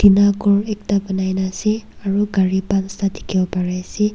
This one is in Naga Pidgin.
enia ghor ekta banaina ase aro gari pansta dikhiwo pariase.